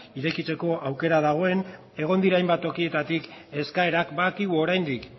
irekitzeko aukera dagoen egon dira hainbat tokietatik eskaerak badakigu oraindik